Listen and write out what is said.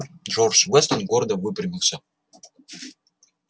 джордж вестон гордо выпрямился